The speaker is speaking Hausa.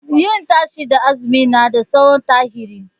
Yin tashe da azumi na da tsohon tarihi